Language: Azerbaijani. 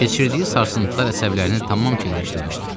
Keçirdiyi sarsıntılar əsəblərini tamam keyləşdirmişdi.